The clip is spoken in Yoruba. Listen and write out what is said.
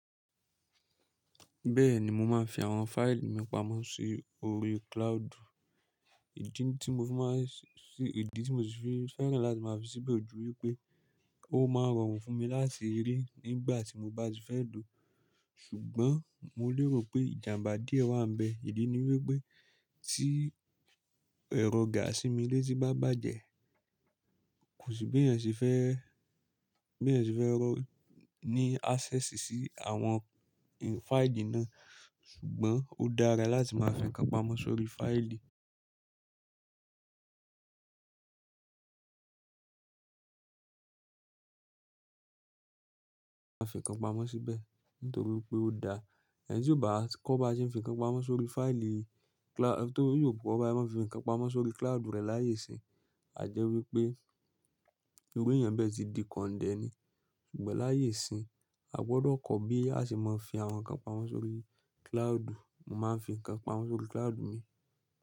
Bẹ́ẹ̀ni mo máa ń fi àwọn fáìlì mi pamọ́ sí orí cloud. Ìdí tí mo sì fi ffẹ́ràn láti máa fi síbẹ̀ ò ju wípé ó máa ń rọrùn fún mi láti rí nígbà tí mo bá ti fẹ́ lò ó, ṣùgbọ́n mo lérò pé ìjàmbá díẹ̀ wà ńbẹ̀. Ìdí ni wípé tí ẹ̀rọ gààsì mi létí bá bàjẹ́, kò sí bí èèyàn ṣe fẹ́ rọ́ ní access sí àwọn fáìlì náà. Ṣùgbọ́n ó dára láti máa fi nǹkan pamọ́ sórí fáìlì, máa fi nǹkan pamọ́ síbẹ̀ nítorí pé ó dára. Ẹni tí ò bá kọ́ bá a ṣe é fi nǹkan pamọ́ sórí fáìlì, torí ò kọ́ báa ṣe máa ń fi nǹkan pamọ́ sórí cloud rẹ̀ láyè ìsinyìí, a jẹ́ wípé irú èèyàn bẹ́ẹ̀ ti di kọ̀ndẹ̀ ni. Ṣùgbọ́n láyé ìsinyìí, a gbọdọ̀ kọ́ bí a ṣe máa fi àwọn nǹkan pamọ́ sórí cloud. Mo máa ń fi nǹkan pamọ́ sórí cloud mi.